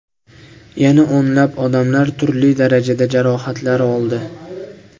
Yana o‘nlab odamlar turli darajada jarohatlar oldi.